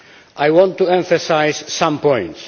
I want to emphasise some points.